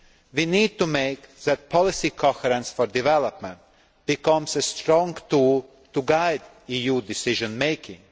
We need to ensure that policy coherence for development becomes a strong tool to guide EU decision making.